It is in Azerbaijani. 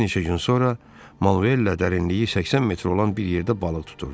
Bir neçə gün sonra Manuel dərinliyi 80 metr olan bir yerdə balıq tuturdu.